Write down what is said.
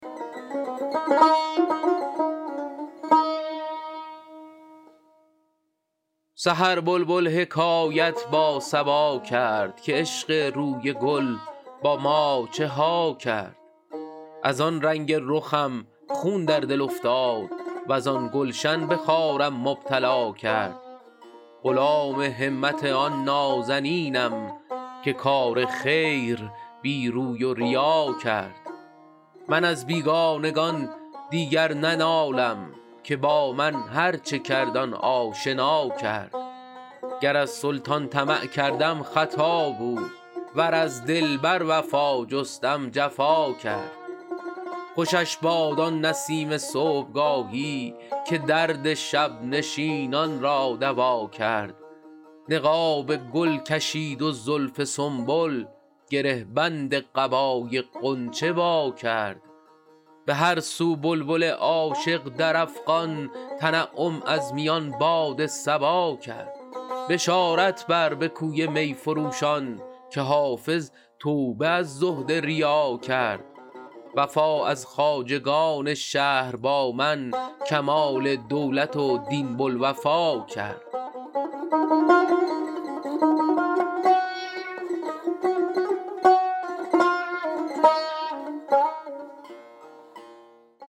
سحر بلبل حکایت با صبا کرد که عشق روی گل با ما چه ها کرد از آن رنگ رخم خون در دل افتاد وز آن گلشن به خارم مبتلا کرد غلام همت آن نازنینم که کار خیر بی روی و ریا کرد من از بیگانگان دیگر ننالم که با من هرچه کرد آن آشنا کرد گر از سلطان طمع کردم خطا بود ور از دلبر وفا جستم جفا کرد خوشش باد آن نسیم صبحگاهی که درد شب نشینان را دوا کرد نقاب گل کشید و زلف سنبل گره بند قبای غنچه وا کرد به هر سو بلبل عاشق در افغان تنعم از میان باد صبا کرد بشارت بر به کوی می فروشان که حافظ توبه از زهد ریا کرد وفا از خواجگان شهر با من کمال دولت و دین بوالوفا کرد